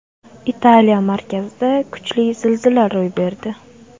Italiya markazida kuchli zilzila ro‘y berdi.